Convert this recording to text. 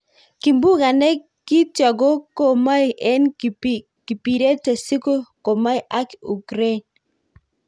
Kimbunga ne kityo ko komoi en kibirete si komoi ak Ukrain.